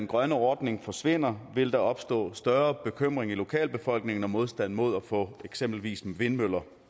grøn ordning forsvinder vil der opstå større bekymring i lokalbefolkningen og modstand mod at få eksempelvis vindmøller